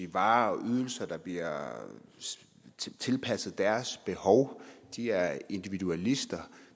varer og ydelser der bliver tilpasset deres behov de er individualister